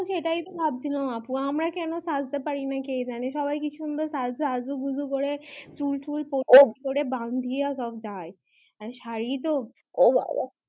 আমি সেটা তো ভাবছিলাম আপু আমরা কেনো সাজতে পারছি না কে জানে সবাই কি সুন্দর অজু গুজু করে চুল টুল করে বাঁধিয়া সারি তো ও বাবা